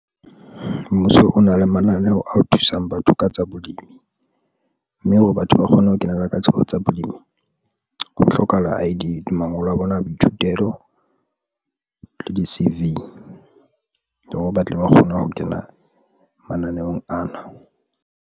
Mmuso o na le mananeo ao thusang batho ka tsa bolemi, mme hore batho ba kgone ho kenella ka tsebo tsa bolemi ho hlokahala I_D le mangolo a bona a boithutelo le di-C_V le hore ba tle ba kgone ho kena mananeong ana.